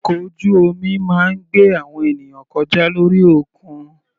Ọkọ̀ ojú omi máa ń gbé àwọn ènìyàn kọjá lórí òkun.